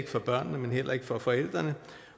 for børnene men heller ikke for forældrene